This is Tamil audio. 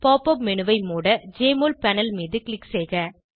pop உப் மேனு ஐ மூட ஜெஎம்ஒஎல் பேனல் மீது க்ளிக் செய்க